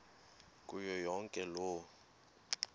kuyo yonke loo